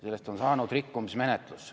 Sellest on saanud rikkumismenetlus.